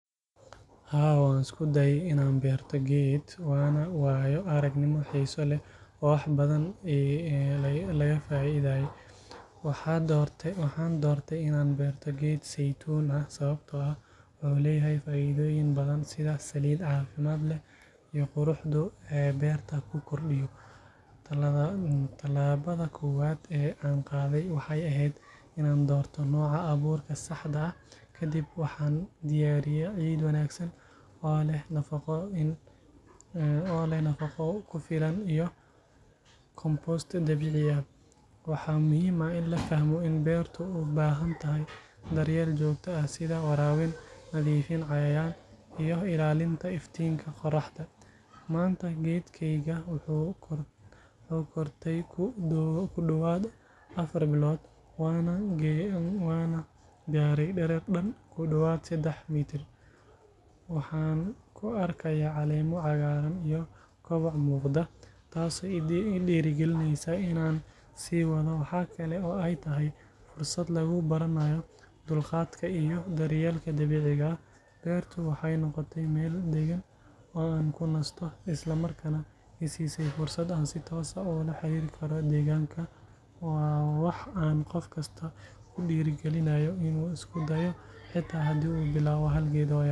Haa, waan isku dayay in aan beerto geed, waana waayo-aragnimo xiiso leh oo wax badan la iiga faa'iiday. Waxaan doortay in aan beerto geed saytuun ah sababtoo ah wuxuu leeyahay faa’iidooyin badan sida saliid caafimaad leh iyo quruxda uu beerta ku kordhiyo. Talaabada koowaad ee aan qaaday waxay ahayd in aan doorto nooca abuurka saxda ah. Kadib waxaan diyaariyay ciid wanaagsan, oo leh nafaqo ku filan iyo compost dabiici ah. Waxaa muhiim ah in la fahmo in beertu u baahan tahay daryeel joogto ah, sida waraabin, nadiifin cayayaan, iyo ilaalinta iftiinka qorraxda. Maanta, geedkaygii wuu kortay ku dhowaad afar bilood, waana gaadhay dherer dhan ku dhowaad saddex mitir. Waxa aan ku arkayaa caleemo cagaaran iyo koboc muuqda, taasoo i dhiirrigelisay in aan sii wado. Waxa kale oo ay tahay fursad lagu baranayo dulqaadka iyo daryeelka dabiiciga ah. Beertu waxay noqotay meel degan oo aan ku nasto, isla markaana i siisay fursad aan si toos ah ula xiriiri karo deegaanka. Waa wax aan qof kasta ku dhiirrigelinayo in uu isku dayo, xitaa haddii uu bilaabo hal geed oo yar.